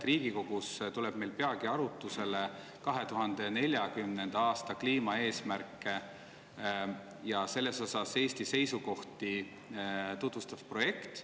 Riigikogus tuleb meil peagi arutlusele 2040. aasta kliimaeesmärke ja Eesti sellekohaseid seisukohti tutvustav projekt.